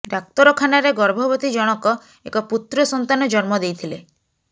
ଡାକ୍ତରଖାନାରେ ଗର୍ଭବତୀ ଜଣକ ଏକ ପୁତ୍ର ସନ୍ତାନ ଜନ୍ମ ଦେଇଥିଲେ